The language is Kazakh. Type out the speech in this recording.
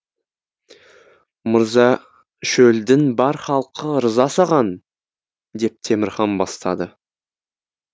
мырза шөлдің бар халқы ырза саған деп темірхан бастады